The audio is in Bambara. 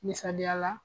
Misaliya la